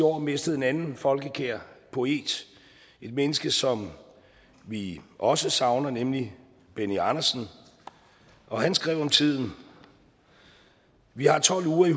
år mistet en anden folkekær poet et menneske som vi også savner nemlig benny andersen og han skrev om tiden vi har tolv ure i